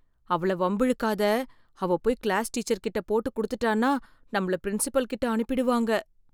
அவளை வம்பிழுக்காத. அவ போய் கிளாஸ் டீச்சர்கிட்ட போட்டு கொடுத்துட்டான்னா, நம்மள பிரின்ஸிபல் கிட்ட அனுப்பிடுவாங்க.